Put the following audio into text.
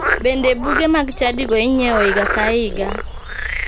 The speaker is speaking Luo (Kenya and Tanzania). Bende buge mag chadigo inyiewo higa ka higa.